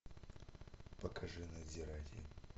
покажи надзиратель